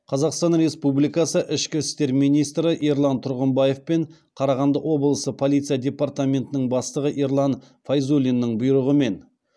қазақстан республикасы ішкі істер министрі ерлан тұрғымбаев пен қарағанды облысы полиция департаментінің бастығы ерлан файзуллиннің бұйрығымен